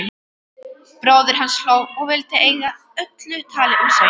Bróðir hans hló og vildi eyða öllu tali um söng.